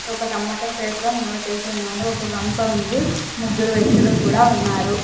ఒక tomato crate లో నిల్వ చేసి ఉన్నారు. ఒక గంప ఉంది ముగ్గురు వ్యక్తులు కూడా ఉన్నారు.